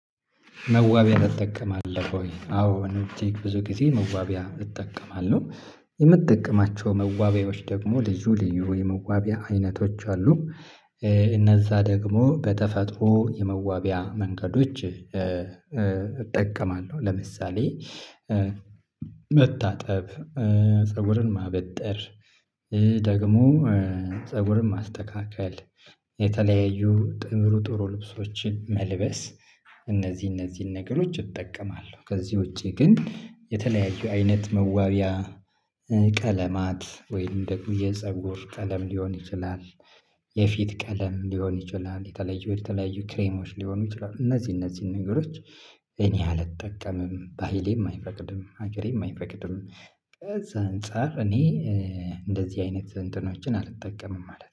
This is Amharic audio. መዋቢያ ትጠቀማለህ ወይ? አዎ እኔ ውጪ ብዙ ጊዜ መዋቢያ እጠቀማለሁ። የምጠቅማቸው መዋቢያዎች ደግሞ ልዩ ልዩ የመዋቢያ አይነቶች አሉ። እነዛ ደግሞ በተፈጥሮ የመዋቢያ መንገዶች እጠቀማለሁ። ለምሳሌ መታጠብ፤ ፀጉርን ማበጠር ደግሞ ፀጉርን ማስተካክል የተለያዩ ጥሩ ጥሩ ልብሶችን መልበስ እነዚህ እነዚህን ነገሮች እጠቀማለሁ። ከዚህ ውጪ ግን የተለያዩ አይነት መዋቢያ ቀለማት ወይም ደግሞ የፀጉር ቀለም ሊሆን ይችላል የፊት ቀለም ሊሆን ይችላል የተለዩ የተለያዩ ክሬሞች ሊሆኑ ይችላሉ። እነዚህ እነዚህን ነገሮች እኔ አልጠቀምም። ባህሌም አይፈቅድም፤ ሀገሬም አይፈቅድም። ከዛ አንፃር እኔ እንደዚህ አይነት እንትኖችን አልጠቀምም ማለት ነው።